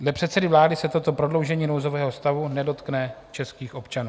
Dle předsedy vlády se toto prodloužení nouzového stavu nedotkne českých občanů.